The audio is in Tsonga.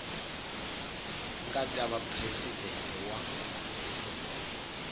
nga ta va presidente wa